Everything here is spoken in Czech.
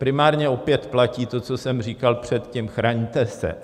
Primárně opět platí to, co jsem říkal předtím, chraňte se.